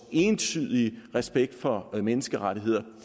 og entydige respekt for menneskerettigheder